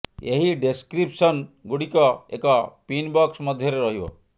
ଏହି ଡେସକ୍ରିପସନ ଗୁଡ଼ିକ ଏକ ପିନ୍ ବକ୍ସ ମଧ୍ୟରେ ରହିବ